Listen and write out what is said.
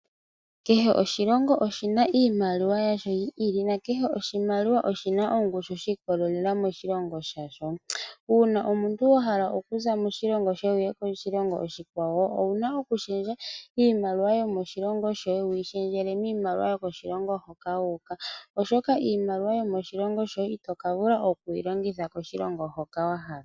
Kehe oshilongo oshina iimaliwa yasho yi ili nakeshe oshimaliwa oshina ongushu shiikolelela moshilongo shasho. Uuna omuntu wahala okuza moshilongo shoye wuuka koshilongo oshikwawo owuna okushendja iimaliwa yomoshilongo shoye wuyi shendjele miimaliwa yoshilongo hoka wuuka oshoka iimaliwa yomoshilongo shoye itoka vula okuyilongitha koshilongo hoka waha.